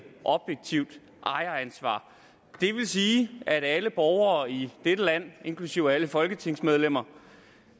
objektivt ejeransvar det vil sige at alle borgere i dette land inklusive alle folketingsmedlemmer